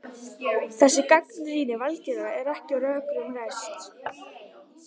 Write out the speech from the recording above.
Þessi gagnrýni Valgerðar er því ekki á rökum reist.